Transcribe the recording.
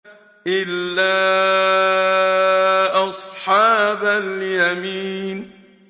إِلَّا أَصْحَابَ الْيَمِينِ